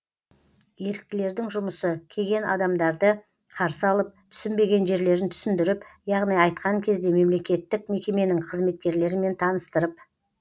еріктілердің жұмысы кеген адамдарды қарсы алып түсінбеген жерлерін түсіндіріп яғни айтқан кезде мемлекеттік мекеменің қызметкерлерімен таныстырып